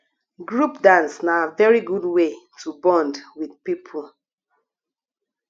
group dance na very good wey to bond with people